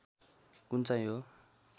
कुन चाहिँ हो